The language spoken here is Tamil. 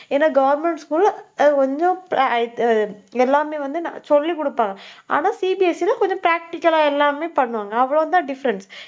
ஏன்னா government school ல ஆஹ் கொஞ்சம் எல்லாமே வந்து, நான் சொல்லிக் கொடுப்பா ஆனா CBSE ல கொஞ்சம் practical ஆ எல்லாமே பண்ணுவாங்க. அவ்வளவுதான் different